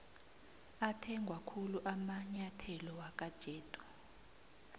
athengwakhulu amainyetholo wakwajedu